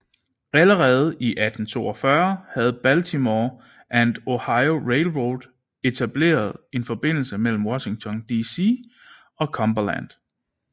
Allerede i 1842 havde Baltimore and Ohio Railroad etableret en forbindelse mellem Washington DC og Cumberland